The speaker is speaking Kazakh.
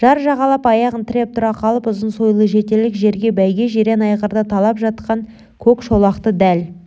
жар жағалап аяғын тіреп тұра қалып ұзын сойылы жетерлік жерде бәйге жирен айғырды талап жатқан көк шолақты дәл